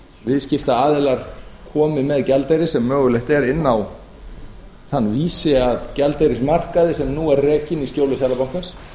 viðskiptaaðilar komi með gjaldeyri sem mögulegt er inn á þann vísi að gjaldeyrismarkaði sem nú er rekinn í skjóli seðlabankans